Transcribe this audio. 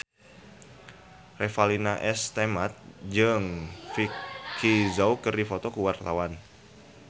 Revalina S. Temat jeung Vicki Zao keur dipoto ku wartawan